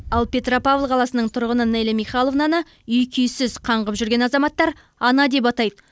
ал петропавл қаласының тұрғыны неля михайловнаны үй күйсіз қаңғып жүрген азаматтар ана деп атайды